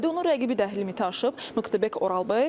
Onun rəqibi də limiti aşıb, Muxtarbek Oralbey.